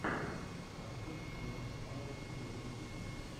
концерт дона омара вево ютюб